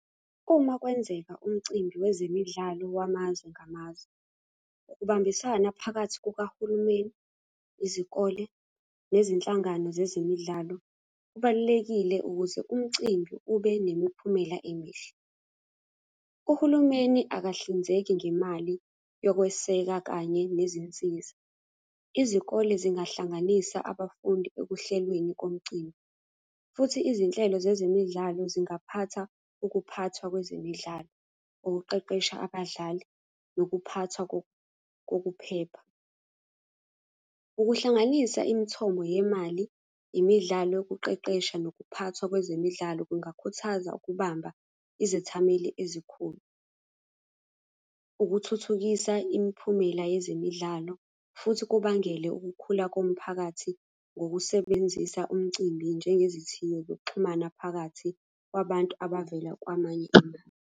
Uma kwenzeka umcimbi wezemidlalo wamazwe ngamazwe, ukubambisana phakathi kukahulumeni, izikole nezinhlangano zezemidlalo, kubalulekile ukuze umcimbi ube nemiphumela emihle. Uhulumeni akahlinzeki ngemali yokweseka kanye nezinsiza. Izikole zingahlanganisa abafundi ekuhlelweni komcimbi, futhi izinhlelo zezemidlalo zingaphatha ukuphathwa kwezemidlalo, ukuqeqesha abadlali, nokuphathwa kokuphepha. Ukuhlanganisa imithombo yemali, imidlalo yokuqeqesha, nokuphathwa kwezemidlalo kungakhuthaza ukubamba izethameli ezikhulu. Ukuthuthukisa imiphumela yezemidlalo, futhi kubangele ukukhula komphakathi ngokusebenzisa umcimbi njengezithiyo zokuxhumana phakathi kwabantu abavela kwamanye amazwe.